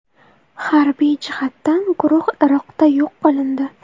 Harbiy jihatdan guruh Iroqda yo‘q qilindi”.